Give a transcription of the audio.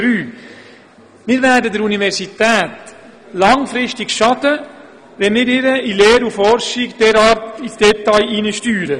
Wir werden der Universität langfristig schaden, wenn wir ihr in Lehre und Forschung derart ins Detail hineinsteuern.